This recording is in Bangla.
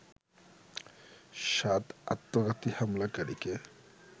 সাত আত্মঘাতী হামলাকারীকে